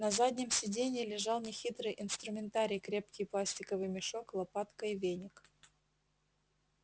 на заднем сиденье лежал нехитрый инструментарий крепкий пластиковый мешок лопатка и веник